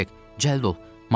Kviçek, cəld ol.